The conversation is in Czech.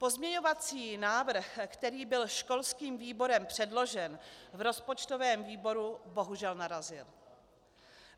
Pozměňovací návrh, který byl školským výborem předložen, v rozpočtovém výboru bohužel narazil.